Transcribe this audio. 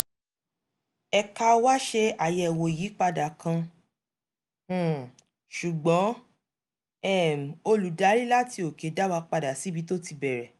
ẹ̀ka wá ṣe àyẹ̀wò ìyípadà kan um ṣùgbọ́n um olùdarí láti òkè dá wa padà síbi tó ti bẹ̀rẹ̀